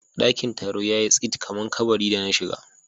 Daƙin Taron yayi tsit kamar kaɓari da na shiga.